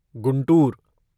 Guntur